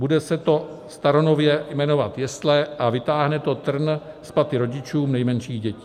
Bude se to staronově jmenovat jesle a vytáhne to trn z paty rodičům nejmenších dětí.